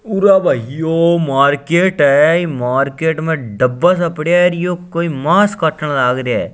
उर भाईओ मार्केट है मार्केट में दबा सा पड़िया है यो कोई मास काटने लाग रहिया है।